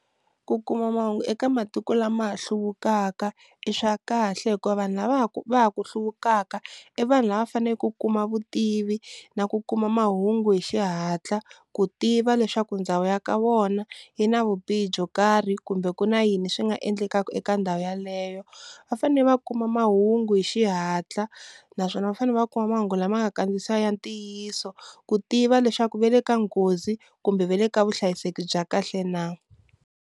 Ku kuma mahungu eka matiko lama ha hluvukaka i swa kahle hikuva vanhu lava va ku va ha ku hluvukaka i vanhu lava fanele ku kuma vutivi na ku kuma mahungu hi xihatla ku tiva leswaku ndhawu ya ka vona yi na vubihi byo karhi kumbe ku na yini swi nga endlekaka eka ndhawu yeleyo, va fanele va kuma mahungu hi xihatla naswona va fanele va kuma mahungu lama nga kandziyisiwa ya ntiyiso ku tiva leswaku va le ka nghozi kumbe va le ka vuhlayiseki bya kahle na.